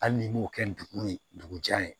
Hali n'i m'o kɛ nguru ye dugu jan ye